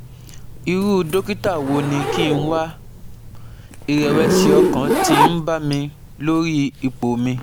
Irú dókítà wo ni kí n wá? Ìrẹ̀wẹ̀sì ọkàn ti ń bà mí lórí ipò mi